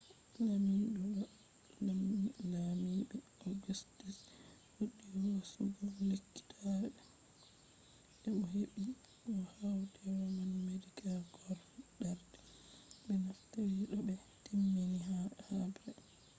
lamiɗo do lamiɓe augustus fuɗɗi hoosugo lekkitaɓe e bo'o heɓɓi be mo hauti roman medical corps fuɗɗarde ɓe naftira to ɓe timmini haɓre